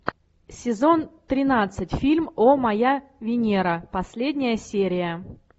сезон тринадцать фильм о моя венера последняя серия